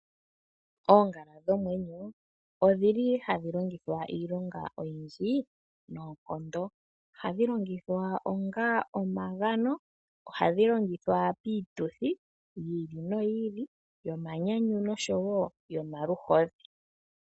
Oongala dhomwenyo odhili ha dhi longithwa iilonga oyindji noonkondo . Ohandhi longithwa onga omagano ,oha dhi longithwa piituthi yi ili no yi ili yonyanyu noshowo yomaluhodhi.